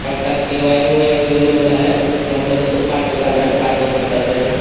पंखा का wiring wiring जोड़ने वाला है मतलब उसको पार्ट दुकान है पार्ट दुकान कहते हैं।